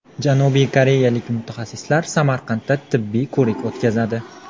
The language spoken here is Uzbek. Janubiy koreyalik mutaxassislar Samarqandda tibbiy ko‘rik o‘tkazadi.